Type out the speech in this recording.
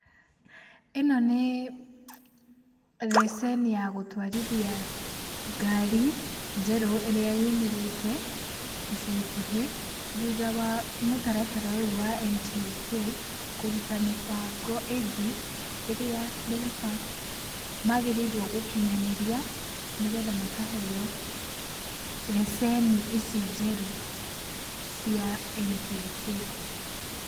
ĩno nĩ receni ya gũtwarithia ngari, njerũ ĩrĩa yũmĩrĩte ica ikuhĩ thutha wa mũtaratara ũyũ wa NTSA kũruta mĩbango ĩngĩ ĩrĩa ndereba mabatiĩ gũkinyanĩria nĩgetha makaheo receni ici njerũ cia NTSA.